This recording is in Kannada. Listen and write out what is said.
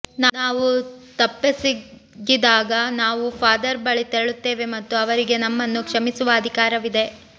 ನಾವು ತಪ್ಪೆಸಗಿದಾಗ ನಾವು ಫಾದರ್ ಬಳಿ ತೆರಳುತ್ತೇವೆ ಮತ್ತು ಅವರಿಗೆ ನಮ್ಮನ್ನು ಕ್ಷಮಿಸುವ ಅಧಿಕಾರವಿದೆ